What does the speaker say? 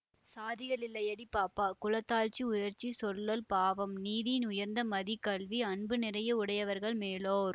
சாதிகள் இல்லையடி பாப்பா குல தாழ்ச்சி உயர்ச்சி சொல்லல் பாவம் நீதி உயர்ந்த மதி கல்வி அன்பு நிறைய உடையவர்கள் மேலோர்